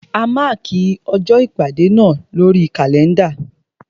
A mákì ọjọ́ ìpàdé náà lórí kàlẹ́ndà.